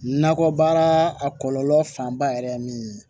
Nakɔbaara a kɔlɔlɔ fanba yɛrɛ ye min ye